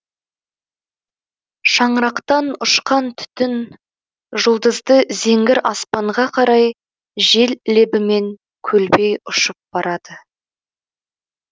шаңырақтан ұшқан түтін жұлдызды зеңгір аспанға қарай жел лебімен көлбей ұшып барады